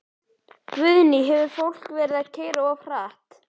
Guðný: Hefur fólk verið að keyra of hratt?